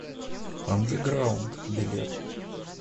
андеграунд билет